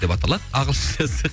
деп аталады ағылшыншасы